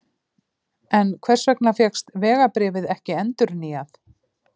En hvers vegna fékkst vegabréfið ekki endurnýjað?